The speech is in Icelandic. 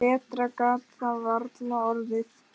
Betra gat það varla orðið.